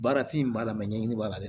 Baarafin b'a la ɲɛɲini b'a la